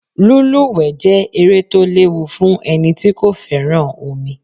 Lúlùwé jẹẹ́ eré to léwu fun eni tí kò féràn omi